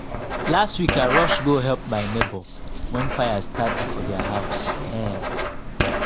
last week i rush go help my neighbor when fire start for their house. um